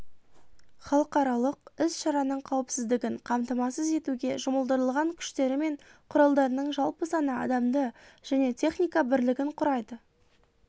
халықаралық іс-шараның қауіпсіздігін қамтамасыз етуге жұмылдырылған күштері мен құралдарының жалпы саны адамды және техника бірлігін құрайды